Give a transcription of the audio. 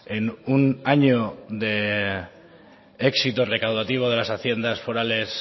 en un año de éxito recaudativo de las haciendas forales